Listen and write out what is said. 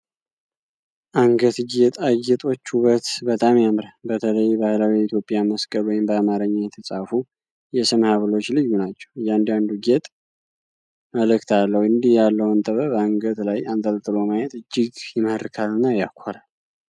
አንገት ጌጣ ጌጦች ውበት በጣም ያምራል! በተለይ ባህላዊው የኢትዮጵያ መስቀል ወይም በአማርኛ የተጻፉ የስም ሀብሎች ልዩ ናቸው። እያንዳንዱ ጌጥ መልእክት አለው፤ እንዲህ ያለውን ጥበብ አንገት ላይ አንጠልጥሎ ማየት እጅግ ይማርካልና ያኮራል!